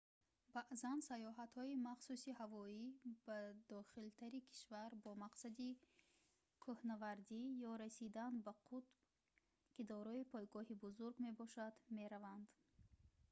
баъзан саёҳатҳои махсуси ҳавоӣ ба дохилтари кишвар бо мақсади кӯҳнавардӣ ё расидан ба қутб ки дорои пойгоҳи бузург мебошад мераванд